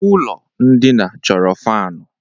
Ụlọ ndina chọrọ fanu